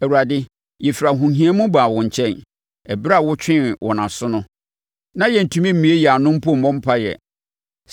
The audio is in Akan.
Awurade, yɛfiri ahohia mu baa wo nkyɛn; ɛberɛ a wotwee wɔn aso no, na yɛntumi mmue yɛn ano mpo mmɔ mpaeɛ.